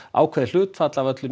ákveðið hlutfall af öllu